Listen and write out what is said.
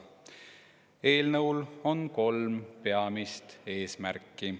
Eelnõul on kolm peamist eesmärki.